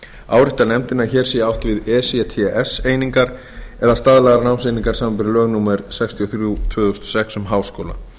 ályktar nefndin að hér sé átt við ects einingar eða staðlaðar námseiningar samanber lög númer sextíu og þrjú tvö þúsund og sex um háskóla